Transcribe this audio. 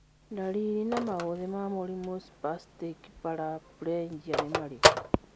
Ndariri na maũthĩ ma mũrimũ Spastic paraplegia nĩ marikũ?